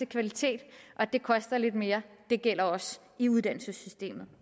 kvalitet og det koster lidt mere det gælder også i uddannelsessystemet